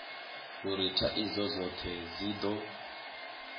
uri thaidzo dzothe dzi do